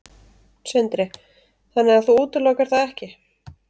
Sindri: Þannig að þú útilokar það ekki?